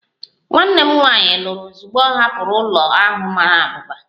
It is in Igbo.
Nwanne m nwanyị lụrụ ozugbo ọ hapụrụ ụlọ ahụ mara abụba